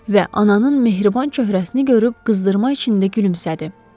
Və ananın mehriban cöhrəsini görüb qızdırma içində gülümsədi.